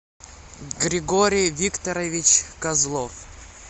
григорий викторович козлов